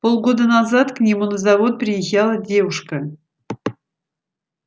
полгода назад к нему на завод приезжала девушка